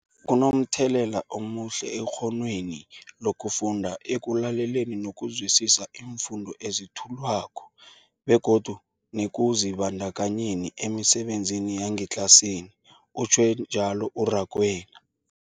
Kunomthelela omuhle ekghonweni lokufunda, ekulaleleni nokuzwisiswa iimfundo ezethulwako begodu nekuzibandakanyeni emisebenzini yangetlasini, utjhwe njalo u-Rakwena.